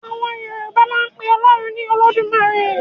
Àwọn Yorùbá máa ń pe Ọlọ́run ní 'Olódùmarè'.